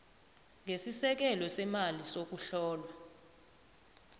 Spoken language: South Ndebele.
ngesisekelo semali sokuhlolwa